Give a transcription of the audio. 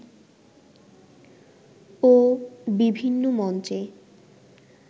ও বিভিন্ন মঞ্চে